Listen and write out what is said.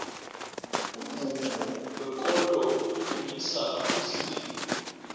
umvumo wekolo udumisa uzimu